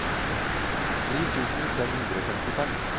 ni tusen fem hundre og femtifem